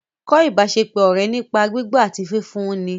Kọ́ ìbáṣepọ̀ ọ̀rẹ́ nípa gbígbọ́ àti fífún un ni